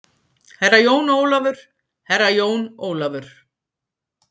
Herra Jón Ólafur, Herra jón Ólafur.